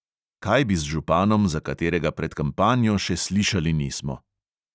Kaj bi z županom, za katerega pred kampanjo še slišali nismo?